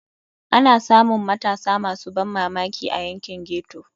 Ana samun matasa masu ban mamaki a yankin ghetto.